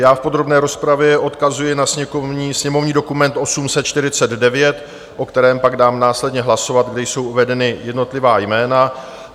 Já v podrobné rozpravě odkazuji na sněmovní dokument 849, o kterém pak dám následně hlasovat, kde jsou uvedena jednotlivá jména.